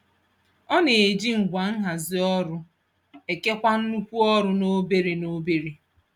Ọ na-eji ngwa nhazi ọrụ ekewa nnukwu ọrụ n'obere n'obere.